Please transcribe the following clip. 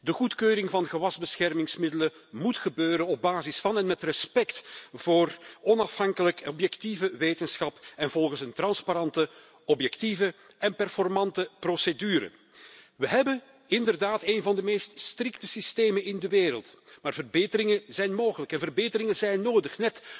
De goedkeuring van gewasbeschermingsmiddelen moet gebeuren op basis van en met respect voor onafhankelijke en objectieve wetenschap en volgens een transparante, objectieve en goed presterende procedure. We hebben inderdaad een van de meest strikte systemen ter wereld, maar verbeteringen zijn mogelijk én nodig